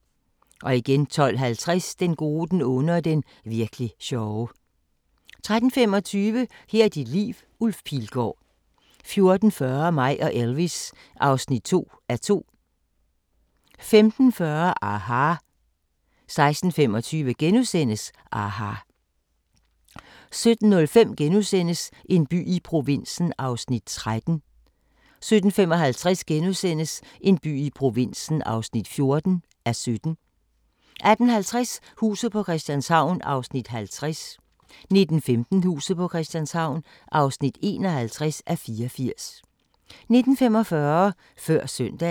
12:50: Den gode, den onde og den virk'li sjove 13:25: Her er dit liv – Ulf Pilgaard 14:40: Mig og Elvis (2:2) 15:40: aHA! 16:25: aHA! * 17:05: En by i provinsen (13:17)* 17:55: En by i provinsen (14:17)* 18:50: Huset på Christianshavn (50:84) 19:15: Huset på Christianshavn (51:84) 19:45: Før søndagen